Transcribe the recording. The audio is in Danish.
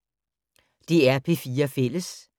DR P4 Fælles